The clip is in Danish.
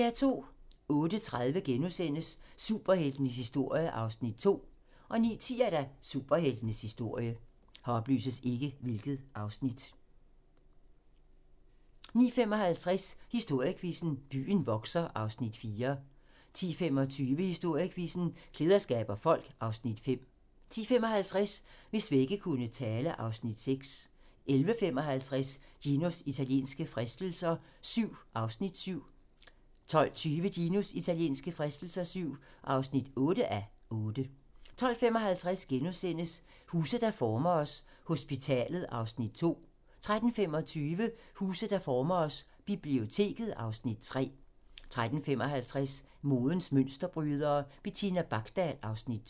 08:30: Superheltenes historie (2:6)* 09:10: Superheltenes historie 09:55: Historiequizzen: Byen vokser (Afs. 4) 10:25: Historiequizzen: Klæder skaber folk (Afs. 5) 10:55: Hvis vægge kunne tale (Afs. 6) 11:55: Ginos italienske fristelser VII (7:8) 12:20: Ginos italienske fristelser VII (8:8) 12:55: Huse, der former os: Hospitalet (Afs. 2)* 13:25: Huse, der former os: Biblioteket (Afs. 3) 13:55: Modens mønsterbrydere: Bettina Bakdal (Afs. 2)